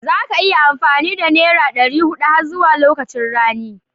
Za ka iya yin amfani da nera ɗari huɗu har zuwa lokacin rani